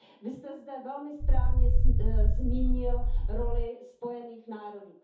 Vy jste zde velmi správně zmínil roli Spojených národů.